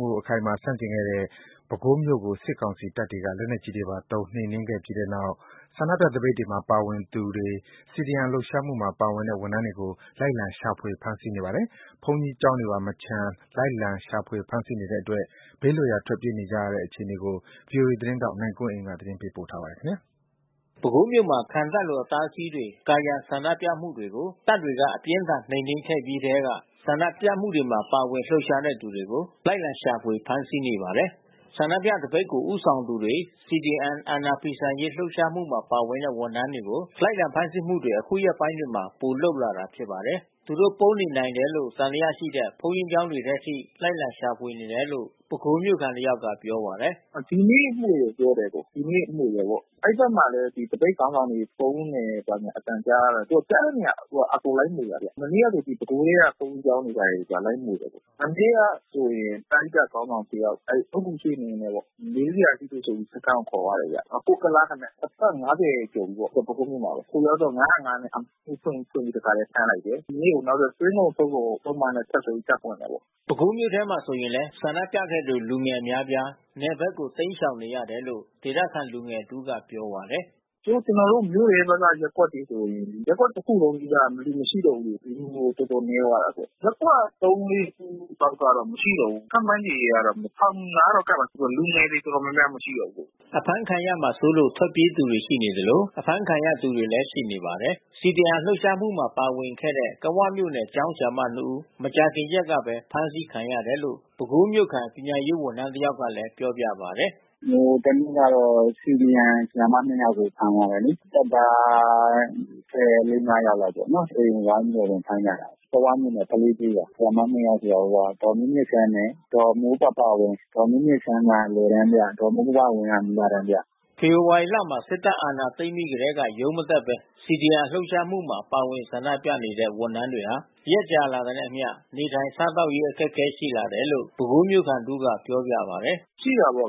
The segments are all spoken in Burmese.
မှုကို အခိုင်အမာဆန့်ကျင်ခဲ့တဲ့ ပဲခူးမြို့ကို စစ်ကောင်စီတပ်တွေက လက်နက်ကြီးတွေပါသုံး နှိမ်နင်းခဲ့ပြီးနောက် ဆန္ဒပြသပိတ်မှာ ပါဝင်သူတွေ CDM လှုပ်ရှားမှုမှာ ပါဝင်တဲ့ ဝန်ထမ်းတွေကို လိုက်လံရှာဖွေ ဖမ်းဆီးနေပါတယ်။ ဘုန်းကြီးကျောင်းတွေပါ မချန်လိုက်လံ ရှာဖွေဖမ်းဆီးနေတဲ့အတွက် ဘေးလွတ်ရာ ထွက်ပြေးနေကြရတဲ့ အခြေအနေကို ဗွီအိုအေသတင်းထောက်နိုင်ကွန်းအိန်က သတင်းပို့ပါတယ်။ ပဲခူးမြို့မှာ ခံတပ်လို အတားအဆီးတွေ ကာရံဆန္ဒပြမှုတွေကို တပ်တွေက အပြင်းအထန်နှိမ်နင်းခဲ့ပြီးထဲက ဆန္ဒပြမှုတွေပါ ပါဝင်လှုပ်ရှားသူတွေကို လိုက်လံ ရှာဖွေ ဖမ်းဆီးနေပါတယ်။ ဆန္ဒပြသပိတ်ကို ဦးဆောင်သူတွေ၊ CDM အာဏာဖီဆန်လှုပ်ရှားမှုမှာ ပါတဲ့ဝန်ထမ်းတွေကို လိုက်လံဖမ်းဆီးမှုတွေ အခုရက်ပိုင်းတွေမှာ ပိုလုပ်လာတာဖြစ်ပါတယ်။ သူတို့ ပုန်းနေနိုင်တယ်လို့ သံသယရှိတဲ့ ဘုန်းကြီးကျောင်းတွေထဲအထိ လိုက်လံရှာဖွေနေတယ်လို့ ပဲခူးမြို့ခံတယောက်က ပြောပြပါတယ်။ "ဒီနေ့မွှေတယ်ပြောတယ်။ ဒီနေ့မွှေတယ်။ အဲဒီဘက်မှာလည်း သပိတ်ခေါင်းဆောင်တွေ ပုန်းနေတယ်အသံကြားရတော့ သူက ကြားတဲ့နေရာ အကုန်လိုက်မွှေတယ်။ မနေ့ကဆို ဒီပဲခူးထဲက ဘုန်းကြီးကျောင်းတွေ၊ ဘာတွေလိုက်မွှေတယ်။ မနေ့ကဆိုရင်ပရဟိတခေါင်းဆောင်တယောက် အဲဒီအုတ်ဂူရွှေ့နေရင်းနဲ့ပေါ့။ မေးစရာရှိတယ်ဆိုပြီး စခန်းကို ခေါ်သွားတယ်ဗျ။ ကိုကုလားတဲ့အသက်က ၅၀ ကျော်ပြီးပေါ့။ ပဲခူးမြို့မှာပဲ။ ဟိုရောက်တော့ ၅၀၅ နဲ့ အမှုဖွင့်ပြီး တခါထဲဖမ်းလိုက်တယ်။ ဒီနေ့ကို နောက်ထပ်သွင်းကုန်ထုတ်ကုန်ပုဒ်မနဲ့ ဆက်ပြီးတပ်ခေါ်တာပေါ့။" ပဲခူးမြို့ထဲမှာဆိုရင်လည်း ဆန္ဒပြခဲ့သူ လူငယ်အများအပြား နယ်ဘက်ကို တိမ်းရှောင်နေရတယ်လို့ ဒေသခံလူငယ်တဦးက ပြောပါတယ်။ "အခု ကျနော်တို့ မြို့တွင်းဘက်က ရပ်ကွက်တွေဆို ရပ်ကွက်တခုလုံးနီးပါး လူမရှိတော့ဘူး။ လူငယ်တော်တော်နည်း သွားတာပေါ့။ ရပ်ကွက် ၃၊ ၄ ခုကတော့ မရှိတော့ဘူး။ ခန့်မှန်းခြေတော့ ၁,၀၀၀ နားတာ့ကပ်မယ်ထင်တယ်။ လူငယ်တွေ တော်တော်များများ မရှိတော့ဘူးလေ။" အဖမ်းခံရမှာစိုးလို့ ထွက်ပြေးသူတွေ ရှိနေသလို အဖမ်းခံရသူတွေလည်း ရှိပါတယ်။ CDM လှုပ်ရှားမှုမှာ ပါဝင်ခဲ့တဲ့ ကဝမြို့နယ်က ကျောင်းဆရာမနှစ်ဦး မကြာခင်ရက်ကပဲ ဖမ်းဆီးခံရတယ်လို့ ပဲခူးမြို့ခံ ပညာရေးဝန်ထမ်း တယောက်ကလည်း ပြောပြပါတယ်။ "ဟိုတနေ့ကတော့ CDM ဆရာမနှစ်ယောက်ကို ဖမ်းသွားတယ်လေ။ တပ်သား လေး၊ ငါးယောက်လောက်ပေါ့... အိမ်ကို ဝိုင်းပြီးဝင်ဖမ်းကြတာ။ ကဝမြို့နယ် ကလေးကျေးရွာ ဆရာမနှစ်ယောက်က ဒေါ်မြင့်မြင့်စန်းနဲ့ ဒေါ်မိုးပပဝင်း၊ ဒေါ်မြင့်မြင့်စန်းကအလယ်တန်းပြ၊ ဒေါ်မိုးပပဝင်းက မူလတန်းပြ။" ဖေဖော်ဝါရီလမှာ စစ်တပ်အာဏာသိမ်းပြီးထဲက ရုံးမတက်ဘဲ CDM လှုပ်ရှားမှုမှာ ပါဝင်ဆန္ဒပြနေကြတဲ့ ဝန်ထမ်းတွေဟာ ရက်ကြာလာတာနဲ့အမ ျှ နေထိုင် စားသောက်ရေး အခက်ခဲတွေရှိလာတယ်လို့ ပဲခူးမြို့ခံ တဦးက ပြောပြပါတယ်။ "ရှိတာပေါ့။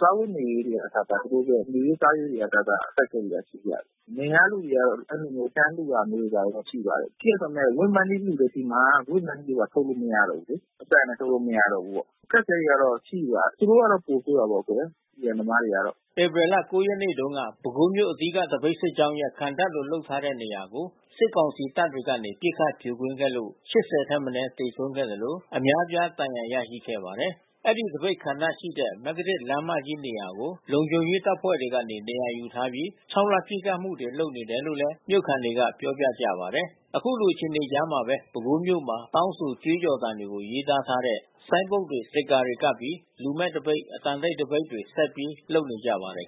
စားဝတ်နေရေးတွေကအစ သူတို့အတွက် နေရေးစားရေးတွေကအစ အခက်ခဲတွေကရှိကြတယ်။ နယ်က လူတွေကတော့ အဲဒီလိုမျိုး တန်းလှူတာမျိုးတော့ ရှိပါတယ်။ ရှိပေမဲ့ Wave Money လှူတယ်ဆီမှာ Wave Money က ဖွင့်လို့မရတော့ဘူးလေ။ ပိုက်ဆံလည်း လွှဲလို့မရတော့ဘူးပေါ့။ အခက်ခဲကတော့ ရှိပါတယ်။ သူတို့ကတော့ ပိုဆိုးတာပေါ့ CDM သမားတွေ။" ဧပြီလ ၉ ရက်နေ့တုန်းက ပဲခူးမြို့ အဓိက သပိတ်စစ်ကြောင်းရဲ့ ခံတပ်လိုလုပ်ထားတဲ့နေရာကို စစ်ကောင်စီတပ်တွေကနေ ပစ်ခတ်ဖြိုခွင်းခဲ့လို့ ၈၀ ထက်မနည်း သေဆုံးခဲ့သလို အများအပြား ဒဏ်ရာရခဲ့ပါတယ်။ အဲဒီသပိတ်ခံတပ်ရှိတဲ့ မဂ္ဂတစ်လမ်းမကြီးနေရာကို လုံခြုံရေးတပ်ဖွဲ့တွေကနေ နေရာယူထားပြီး ခြောက်လှန့်ပစ်ခတ်တာတွေ လုပ်နေတယ်လို့ မြို့ခံတွေက ပြောပြကြပါတယ်။ ခုလိုအခြေအနေကြားမှာပဲ ပဲခူးမြို့မှာ တောင်းဆို ကြွေးကြော်သံတွေကို ရေးသားထားတဲ့ ဆိုင်းဘုတ်တွေ၊ စတစ်ကာတွေကပ်ပြီး လူမဲ့သပိတ်၊ အသံတိတ်သပိတ်တွေကို ဆက်ပြီးလုပ်နေကြပါတယ်